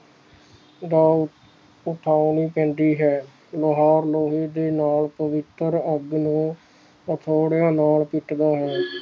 ਅਵਾਜ ਉਠਾਨੀ ਪੈਂਦੀ ਹੈ ਲੋਹਾਰ ਲੋਹੇ ਦੇ ਨਾਲ ਪਵਿੱਤਰ ਅੱਗ ਨੂੰ ਹਥੌੜਿਆਂ ਨਾਲ ਪਿੱਟਦਾ ਹੈ